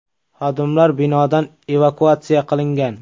Xodimlar binodan evakuatsiya qilingan.